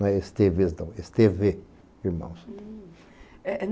Esteves não, Esteve Irmãos.